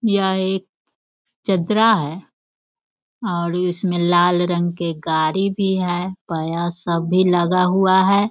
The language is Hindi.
यह एक चदरा है और उसमें लाल रंग के गाड़ी भी है पाया सब लगा हुआ है।